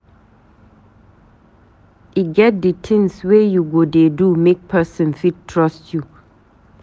E get di tins wey you go dey do make pesin fit trust you.